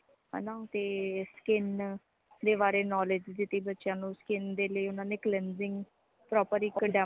ਹੈਨਾ ਤੇ skin ਦੇ ਬਾਰੇ knowledge ਦਿਤੀ ਬੱਚਿਆਂ ਨੂੰ skin ਦੇ ਲਈ ਉਨ੍ਹਾਂਨੇ cleansing proper ਇਕ